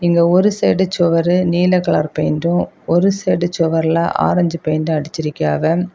இங்க ஒரு சைடு சுவரு நீல கலர் பெயிண்டு ஒரு சைடு சுவர்ல்ல ஆரஞ்சு பெயிண்டும் அடிச்சிருக்கியாவ.